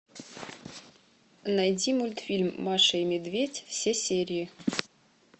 найди мультфильм маша и медведь все серии